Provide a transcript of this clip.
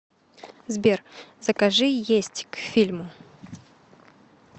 сбер закажи есть к фильму